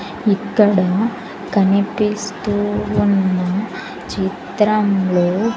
ఇక్కడ కనిపిస్తూ ఉన్న చిత్రంలో--